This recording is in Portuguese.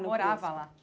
No CRUSP Ele morava lá.